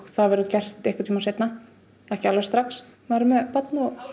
það verður gert seinna ekki alveg strax maður er með barn og